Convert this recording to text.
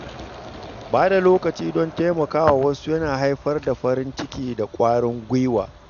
Ba da lokaci don taimakawa wasu yana haifar da farin ciki da ƙwarin gwiwa.